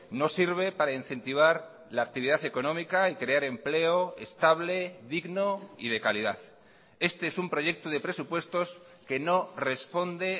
no sirve para incentivar la actividad económica y crear empleo estable digno y de calidad este es un proyecto de presupuestos que no responde